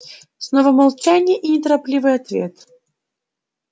снова молчание и неторопливый ответ